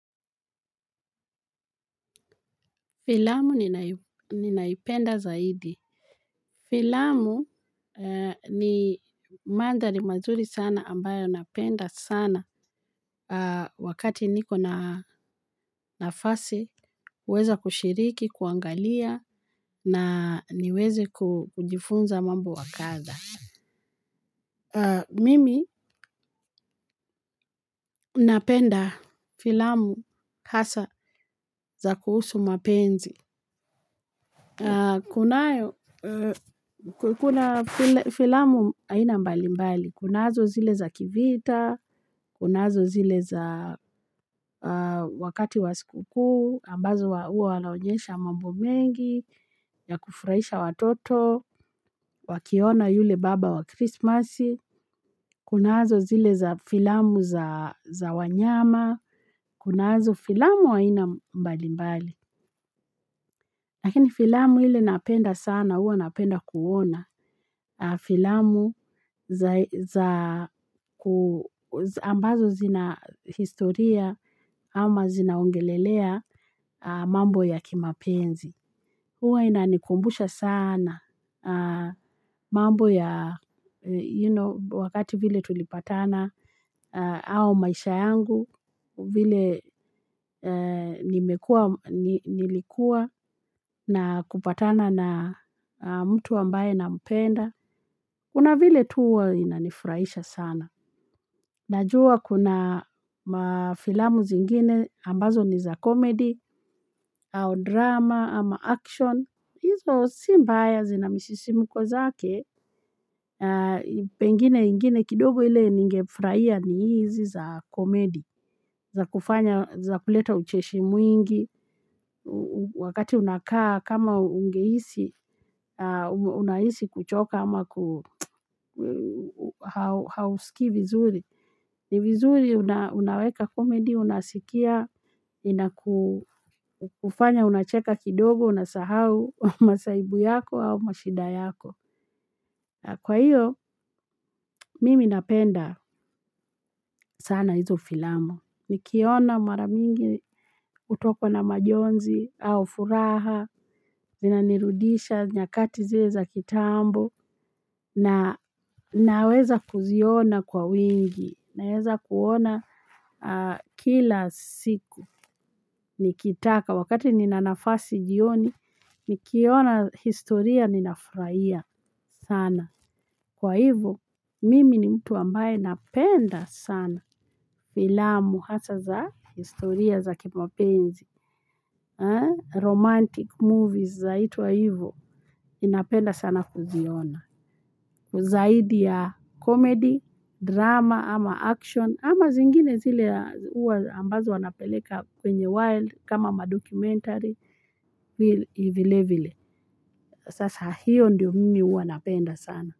Filamu ninaipenda zaidi. Filamu ni mandhari mazuri sana ambayo napenda sana wakati niko na nafasi, huweza kushiriki, kuangalia na niweze kujifunza mambo wa kadha. Mimi napenda filamu hasa za kuhusu mapenzi. Kuna filamu aina mbalimbali, kunazo zile za kivita, kunazo zile za wakati wa sikukuu, ambazo huwa wanaonyesha mambo mengi, ya kufurahisha watoto, wakiona yule baba wa Christmas, kunazo zile za filamu za wanyama, kunazo filamu haina mbalimbali. Lakini filamu ile napenda sana, huwa napenda kuona filamu ambazo zina historia ama zinaongelelea mambo ya kimapenzi. Huwa inanikumbusha sana mambo ya you know, wakati vile tulipatana au maisha yangu, vile nilikuwa na kupatana na mtu ambaye nampenda. Kuna vile tu huwa inanifurahisha sana. Najua kuna mafilamu zingine ambazo ni za komedi, au drama, ama action. Hizo si mbaya, zina misisimuko zake, pengine ingine kidogo ile ningefurahia ni hizi za komedi. Za kufanya, za kuleta ucheshi mwingi, wakati unakaa kama ungehisi, unahisi kuchoka ama hausikii vizuri. Ni vizuri unaweka komedi, unasikia, na inakufanya unacheka kidogo, unasahau masahibu yako au mashida yako. Kwa hiyo, mimi napenda sana hizo filamu. Nikiona mara mingi hutokwa na majonzi au furaha, zinanirudisha nyakati zile za kitambo, na naweza kuziona kwa wingi, naweza kuona kila siku. Nikitaka wakati nina nafasi jioni, nikiona historia ninafurahia sana. Kwa hivyo, mimi ni mtu ambaye napenda sana filamu hasa za historia za kimapenzi. Romantic movies zaitwa hivyo, ninapenda sana kuziona. Zaidi ya komedi, drama ama action ama zingine zile huwa ambazo wanapeleka kwenye wild kama madocumentary, vilevile. Sasa hiyo ndiyo mimi huwa napenda sana.